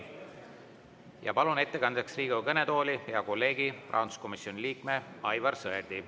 Palun ettekandeks Riigikogu kõnetooli hea kolleegi, rahanduskomisjoni liikme Aivar Sõerdi.